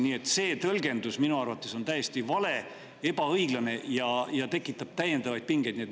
Nii et see tõlgendus on minu arvates täiesti vale, ebaõiglane ja tekitab täiendavaid pingeid.